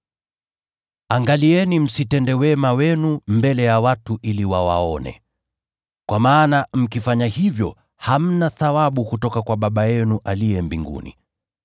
“Angalieni msitende wema wenu mbele ya watu ili wawaone. Kwa maana mkifanya hivyo, hamna thawabu kutoka kwa Baba yenu aliye mbinguni.